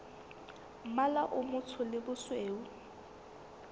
mmala o motsho le bosweu